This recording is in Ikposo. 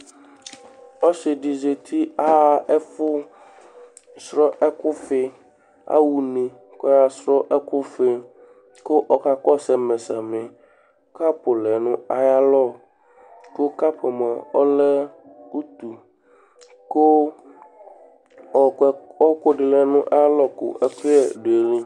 Ɔsɩ dɩ zati Aɣa ɛfʋsrɔ ɛkʋfɩ Aɣa une kʋ ɔyaɣasʋ ɛkʋfɩ kʋ ɔkakɔsʋ ɛmɛ samɩ Kapʋ lɛ nʋ ayalɔ kʋ kapʋ yɛ ɔlɛ utu kʋ ɔɣɔkʋ yɛ ɔɣɔkʋ dɩ lɛ nʋ ayalɔ kʋ ɛkʋyɛ dʋ ayili